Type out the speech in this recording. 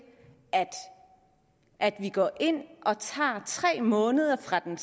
at vi går ind og tager tre måneder fra den